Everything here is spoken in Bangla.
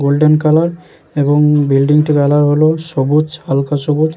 গোল্ডেন কালার এবং বিল্ডিং -টির কালার হলো সবুজ হালকা সবুজ।